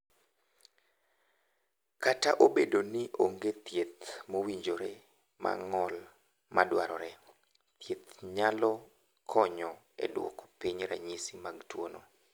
"Kata obedo ni onge thieth mowinjre mar ng’ol ma dwarore, thieth nyalo konyo e duoko piny ranyisi mag tuwono."